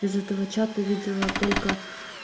из этого чата видела только